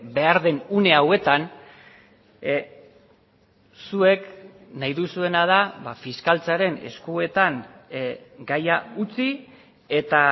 behar den une hauetan zuek nahi duzuena da fiskaltzaren eskuetan gaia utzi eta